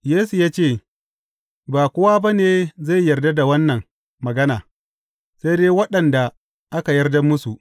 Yesu ya ce, Ba kowa ba ne zai yarda da wannan magana, sai dai waɗanda aka yarda musu.